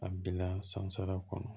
A bila san sara kɔnɔ